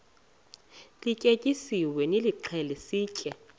lityetyisiweyo nilixhele sitye